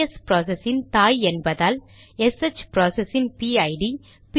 PS process இன் தாய் என்பதால் எஸ்ஹெச் ப்ராசஸ் இன் பிஐடிPID